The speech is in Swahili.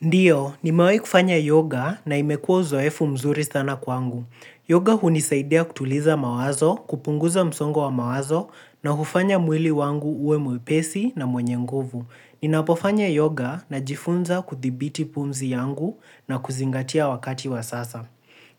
Ndiyo, nimahi kufanya yoga na imekuwa uzoefu mzuri sana kwangu. Yoga hunisaidia kutuliza mawazo, kupunguza msongo wa mawazo, na kufanya mwili wangu uwe mwepesi na mwenye nguvu. Ninapofanya yoga najifunza kudhibiti pumzi yangu, na kuzingatia wakati wa sasa.